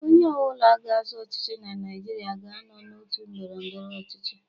Onye ọ bụla ga-azọ ọchịchị na Naịjirịa ga-anọ n'òtù ndọrọ ndọrọ ọchịchị.